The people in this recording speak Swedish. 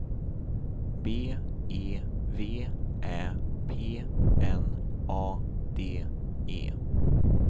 B E V Ä P N A D E